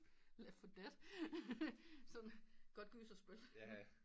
Lethal death sådan godt gyserspil